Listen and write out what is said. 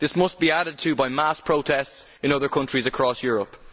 This must be added to by mass protests in other countries across Europe.